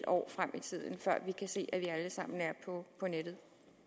år frem i tiden før vi kan se at vi alle sammen er på nettet